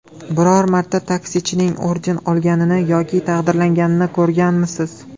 Biror marta taksichining orden olganini yoki taqdirlanganini ko‘rganmisiz?